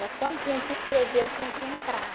Mas quando tinha que escrever, eu tinha que entrar.